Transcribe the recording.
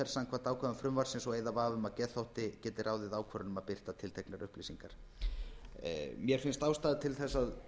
samkvæmt ákvæðum frumvarpsins og eyða vafa um að geðþótti geti ráðið ákvörðun um að birta tilteknar upplýsingar mér finnst ástæða til þess að